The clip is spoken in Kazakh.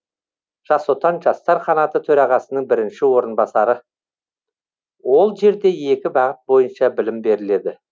жас отан жастар қанаты төрағасының бірінші орынбасары ол жерде екі бағыт бойынша білім берілді